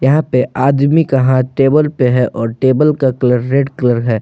यहां पर आदमी का है हाथ टेबल पे है और टेबल का कलर रेड कलर है।